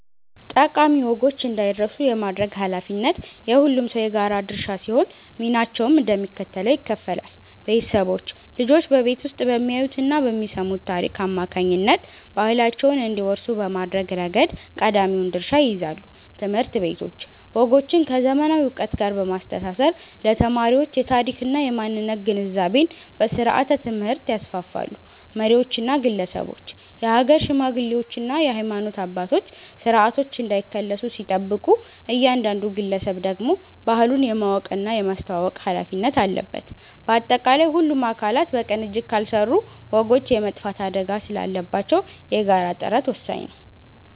ጠቃሚ ወጎች እንዳይረሱ የማድረግ ኃላፊነት የሁሉም ሰው የጋራ ድርሻ ሲሆን፣ ሚናቸውም እንደሚከተለው ይከፈላል፦ ቤተሰቦች፦ ልጆች በቤት ውስጥ በሚያዩትና በሚሰሙት ታሪክ አማካኝነት ባህላቸውን እንዲወርሱ በማድረግ ረገድ ቀዳሚውን ድርሻ ይይዛሉ። ትምህርት ቤቶች፦ ወጎችን ከዘመናዊ ዕውቀት ጋር በማስተሳሰር ለተማሪዎች የታሪክና የማንነት ግንዛቤን በስርዓተ-ትምህርት ያስፋፋሉ። መሪዎችና ግለሰቦች፦ የሀገር ሽማግሌዎችና የሃይማኖት አባቶች ስርዓቶች እንዳይከለሱ ሲጠብቁ፣ እያንዳንዱ ግለሰብ ደግሞ ባህሉን የማወቅና የማስተዋወቅ ኃላፊነት አለበት። ባጠቃላይ፣ ሁሉም አካላት በቅንጅት ካልሰሩ ወጎች የመጥፋት አደጋ ስላለባቸው የጋራ ጥረት ወሳኝ ነው።